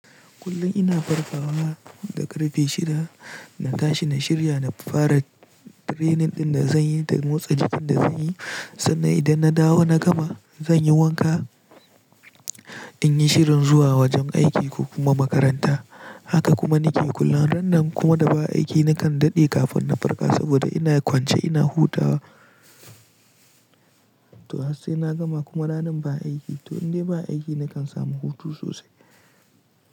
Kullum ina farkawa da ƙarfe shida na tashi na shirya na fara training ɗin da zanyi da motsa jikin da zanyi sannan idan na dawo na gama zanyi wanka in yi shirin zuwa wajen aiki ko kuma makaranta. Haka kuma nike kullum ran da kuma da ba aiki nakan daɗe kafin na farka saboda ina kwance ina hutawa. To har sai na gama kuma ranan ba aiki to indai ba aiki nakan samu hutu sosai.